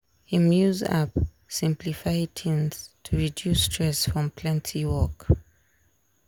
him use app simplify things to reduce stress from plenty work.